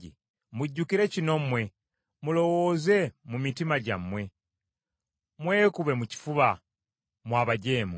“Mujjukire kino mmwe, mulowooze mu mitima gyammwe. Mwekube mu kifuba, mmwe abajeemu.